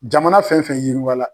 Jamana fɛn fɛn yiriwa la